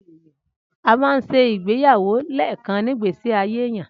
Amà ń se Ìgbẹyàwó lẹkan nigbe sí àyé ẹyan.